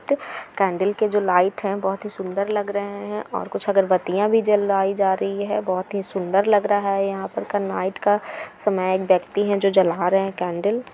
Candle के जो light है बहोत ही सुन्दर लग रहे हैं और कुछ अगरबतीयाँ भी जलाई जा रही हैं बहोत ही सुन्दर लग रहा है यहां पर। नाईट का समय है। एक व्यक्ति है जो जला रहे हैं केन्डल ।